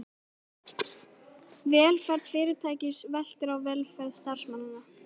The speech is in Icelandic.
Velferð fyrirtækis veltur á velferð starfsmannanna.